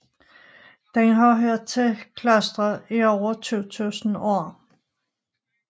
Den har hørt til i klostre i over 2000 år